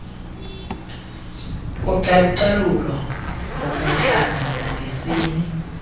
kocalucalulo ngobuhlanga nangesini